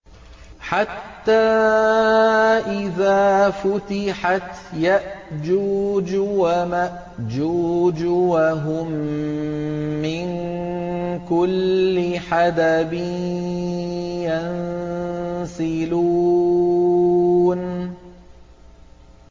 حَتَّىٰ إِذَا فُتِحَتْ يَأْجُوجُ وَمَأْجُوجُ وَهُم مِّن كُلِّ حَدَبٍ يَنسِلُونَ